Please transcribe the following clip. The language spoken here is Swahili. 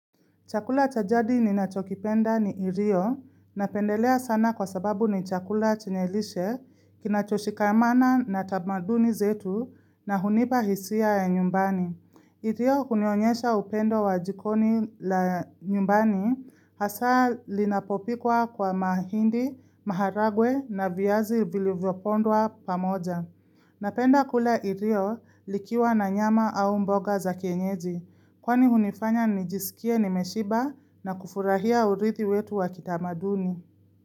Chakula cha jadi ninachokipenda ni irio napendelea sana kwa sababu ni chakula chenye lishe, kinachoshikamana na tamaduni zetu na hunipa hisia ya nyumbani. Irio kunionyesha upendo wa jikoni la nyumbani hasa linapopikwa kwa mahindi, maharagwe na viyazi vilivyopondwa pamoja. Napenda kula irio likiwa na nyama au mboga za kenyeji, kwani hunifanya nijisikie nimeshiba na kufurahia urithi wetu wa kitamaduni.